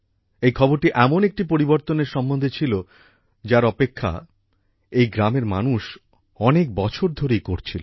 এই খবরটি এমন একটি পরিবর্তনের সম্বন্ধে ছিল যার অপেক্ষা এই গ্রামের মানুষ অনেক বছর ধরেই করছিলো